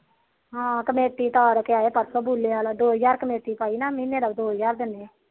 ਹਾ ਕਮੇਟੀ ਤਾਰ ਕੇ ਇਆਆ ਪਾਰਸੋ ਬੁਲਿਆਲ ਦੋ ਹਜਾਰ ਕਮੇਟੀ ਪਾਈ ਦੋ ਹਜਾਰ